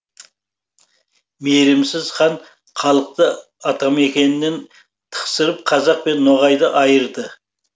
мейірімсіз хан халықты атамекенінен тықсырып қазақ пен ноғайды айырды